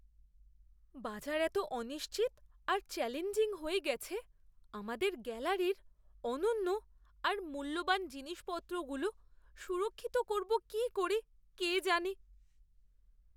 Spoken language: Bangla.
বাজার এত অনিশ্চিত আর চ্যালেঞ্জিং হয়ে গেছে, আমাদের গ্যালারির অনন্য আর মূল্যবান জিনিসপত্রগুলো সুরক্ষিত করবো কী করে কে জানে!